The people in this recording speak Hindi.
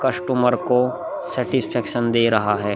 कस्टमर को दे रहा है |